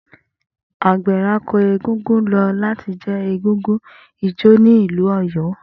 Agbẹ̀rako egúngún lo lati je egúngún ijó ni ilu Oyo.